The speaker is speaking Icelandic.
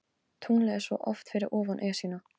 Tunglið er svo oft fyrir ofan Esjuna.